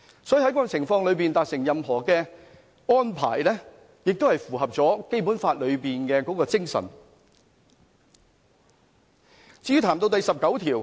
所以，在這樣的情況下達成的任何安排，亦符合《基本法》裏面的精神。